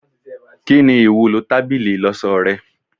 Kini iwulo tábìlì ìloso rẹ